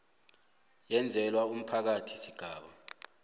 eyenzelwa umphakathi sigaba